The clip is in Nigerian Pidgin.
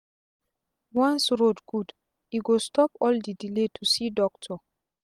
once road good e go stop all d delay to go see doctor